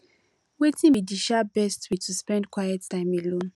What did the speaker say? wetin be di um best way to spend quiet time alone